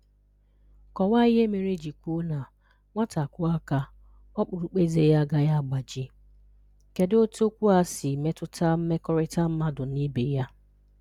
Kọwaa ihe mere e ji kwuo na “Nwata kụọ aka, ọkpụrụkpụ eze ya agaghị agbaji.” Kedụ otu okwu a si metụta mmekọrịta mmadụ na ibe ya?